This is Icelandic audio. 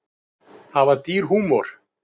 Hafa dýr húmor?